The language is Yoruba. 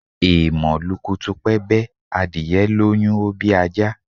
Èèmọ̀ lukutupẹ́bẹ́, adìyẹ lóyún, ó bí ajá